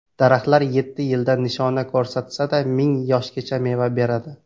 Daraxtlar yetti yilda nishona ko‘rsatsada, ming yoshgacha meva beradi.